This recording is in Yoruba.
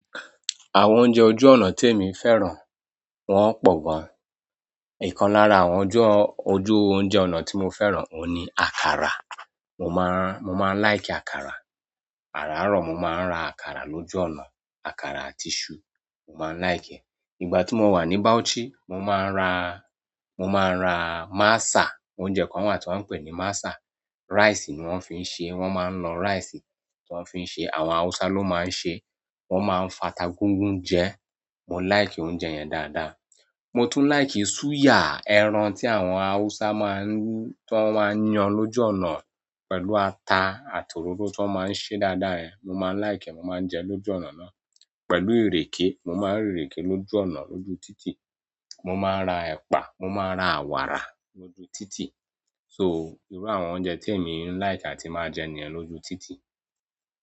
Àwọn oúnjẹ ojú ọ̀nà tí èmi fẹ́ràn, wọ́n pọ̀ gan. Ìkan lára àwọn ojú oúnjẹ ọ̀nà tí mo fẹ́ràn òun ni àkàrà. Mo máa n, mo máa ń like àkàrà. Araaro mo maa n ra àkàrà loju onaa, àkàrà àti isu, mo maa like e ìgbà tí mo wà ní Bauchi, mo máa ń ra, mo máa ń ra masa, oúnjẹ kan wà tí wọ́n ń pè ní masa. Rice ni wọ́n fi ń ṣe, wọ́n máa ń lọ rice tí wọ́n fi ń ṣe, àwọn Haúsá ló máa ń ṣe, wọ́n máa ń fata gúgún jẹ. Mo láìkì oúnjẹ yẹn dáadáa. Mo tún like suya, ẹran tí àwọn Haúsá máa ń, tí wọ́n máa ń yan lójú ọ̀nà pẹ̀lú ata àti òróró tí wọ́n máa ń ṣe dáadáa yẹ̀n. Mo máa ń like ẹ, mo máa ń jẹ ẹ lójú ọ̀nà náà pẹ̀lú ìrèké. Mo máa ń rí ìrèké lójú ọ̀nà lójú títì. Mo máa ra ẹ̀pà, mo máa ra wàrà lójú títì. So, ìru àwọn oúnjẹ tí èmi ń like àti máa jẹ níyen lójú títì.